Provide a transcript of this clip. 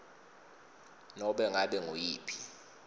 nobe ngabe nguyiphi